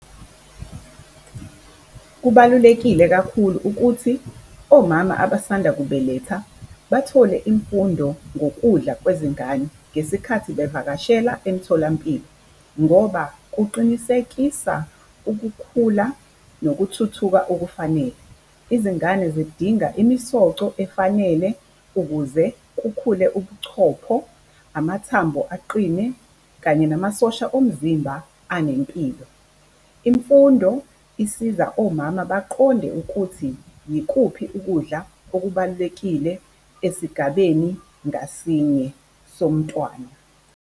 Kubalulekile kakhulu ukuthi omama abasanda kubeletha bathole imfundo ngokudla kwezingane ngesikhathi bevakashela emitholampilo ngoba kuqinisekisa ukukhula nokuthuthuka okufanele. Izingane zidinga imisoco efanele ukuze kukhule ubuchopho, amathambo aqine kanye namasosha omzimba anempilo. Imfundo isiza omama baqonde ukuthi yikuphi ukudla okubalulekile esigabeni ngasinye somntwana.